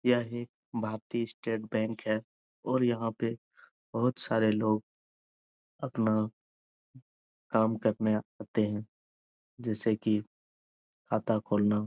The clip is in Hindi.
यह एक भारतीय स्टेट बैंक है और यहाँ पे बहुत सारे लोग अपना काम करने आते हैं जैसे की खाता खोलना।